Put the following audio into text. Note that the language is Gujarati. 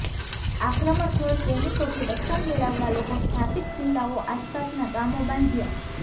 આક્રમણખોર સૈનિકોથી રક્ષણ મેળવવા લોકો સ્થાપિત કિલ્લાઓ આસપાસના ગામો બાંધ્યા